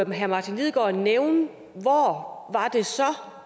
herre martin lidegaard nævne hvor